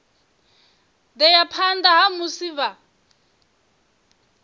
ḓea phanḓa ha musi vha